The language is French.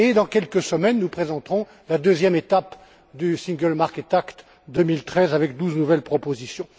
Dans quelques semaines, nous présenterons ensuite la deuxième étape du single market act 2013 avec douze nouvelles propositions.